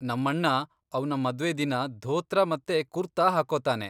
ನಮ್ಮಣ್ಣ ಅವ್ನ ಮದ್ವೆ ದಿನ ಧೋತ್ರ ಮತ್ತೆ ಕುರ್ತಾ ಹಾಕ್ಕೋತಾನೆ.